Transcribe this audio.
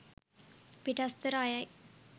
පිටස්තර අයයි.